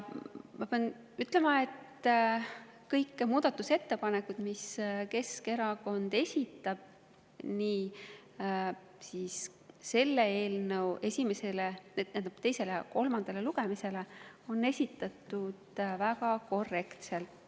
Ma pean ütlema, et kõik muudatusettepanekud, mis Keskerakond esitas nii selle eelnõu teisele kui ka kolmandale lugemisele, olid esitatud väga korrektselt.